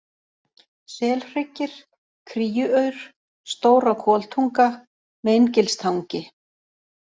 Selhryggir, Kríuaur, Stóra-Koltunga, Meingilstangi